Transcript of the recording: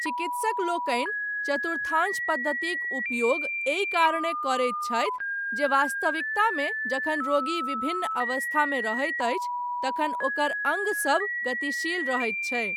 चिकित्सक लोकनि चतुर्थांश पद्धतिक उपयोग एहि कारणेँ करैत छथि जे वास्तविकतामे जखन रोगी विभिन्न अवस्थामे रहैत अछि तखन ओकर अङ्ग सभ गतिशील रहैत छै।